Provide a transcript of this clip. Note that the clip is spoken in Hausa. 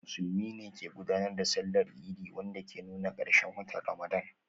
Musulmi ne suke gudanar da Sallar Idi, wanda ke nuna karshen watan Ramadan.